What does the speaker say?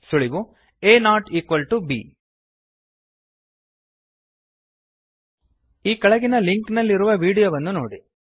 ಸುಳಿವು a not equal to b ಕೆಳಗಿನ link ನಲ್ಲಿರುವ ವೀಡಿಯೋವನ್ನು ನೋಡಿರಿ